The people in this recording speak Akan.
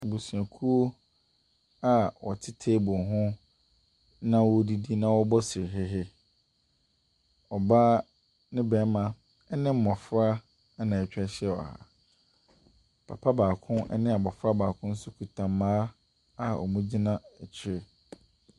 Abusuakuo a wɔte table ho na wɔredidi na wɔrebɔ serehehe. Ɔbaa ne barima ne mmɔfra na atwa ahyia wɔ ha. Papa baako ne abɔfra baako nso kita mmaa a wɔgyina akyire.